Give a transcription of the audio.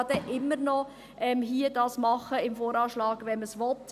Man kann dies ja dann immer noch im VA machen, wenn man das will.